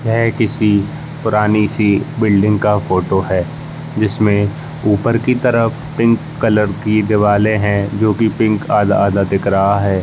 ये किसी पुरानी सी बिल्डिंग की फोटो है। जिसमे ऊपर कि तरफ पिंक कलर की दीवाले हैं जो कि पिंक आधा-आधा दिख रहा है।